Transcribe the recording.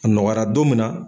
A nɔgɔyara don min na